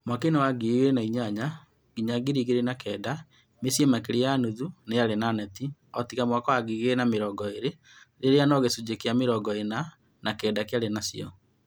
Mwaka inĩ wa 2008-2009 mĩciĩ makĩria ya nuthu niyarĩ na neti. Ootiga mwaka wa 2020 rĩrĩa no gĩcunjĩ kĩa mĩrongo ĩna na kenda kĩarĩ nacio